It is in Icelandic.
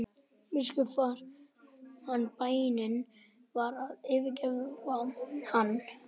Biskup fann að bænin var að yfirgefa hann.